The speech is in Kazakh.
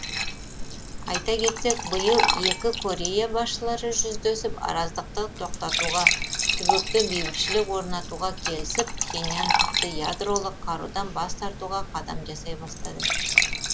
айта кетсек биыл екі корея басшылары жүздесіп араздықты тоқтатуға түбекте бейбітшілік орнатуға келісіп пхеньян тіпті ядролық қарудан бас тартуға қадам жасай бастады